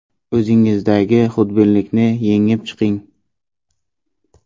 O‘zingizdagi xudbinlikni yengib chiqing.